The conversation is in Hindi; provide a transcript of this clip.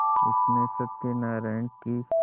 उसने सत्यनाराण की